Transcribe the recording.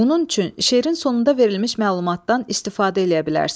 Bunun üçün şeirin sonunda verilmiş məlumatdan istifadə eləyə bilərsən.